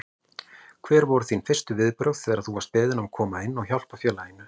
Hver voru þín fyrstu viðbrögð þegar þú varst beðinn að koma inn og hjálpa félaginu?